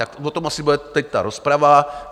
Tak o tom asi bude teď ta rozprava.